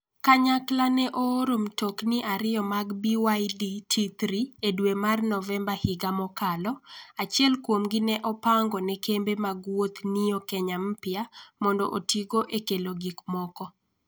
Kanyakla ne ooro mtokni ariyo mag BYD T3 e dwe mar Novemba higa mokalo, achiel kuomgi ne opango ne kembe mag wuoth Neo Kenya Mpya mondo otigo e kelo gik moko.